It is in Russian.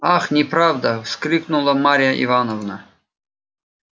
ах неправда вскрикнула марья ивановна